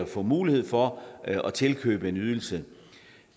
få mulighed for at tilkøbe en ydelse